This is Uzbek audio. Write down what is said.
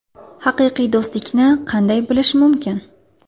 Haqiqiy do‘stlikni qanday bilish mumkin?.